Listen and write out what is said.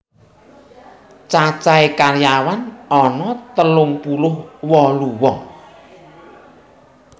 Cacahe karyawan ana telung puluh wolu wong